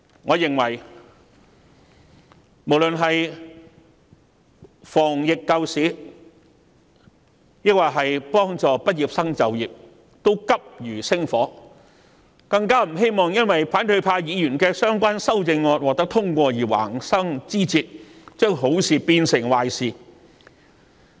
我認為無論是防疫、救市，抑或是協助畢業生就業，全部均急如星火，更不希望因為反對派議員的相關修正案獲得通過而橫生枝節，將好事變成壞事。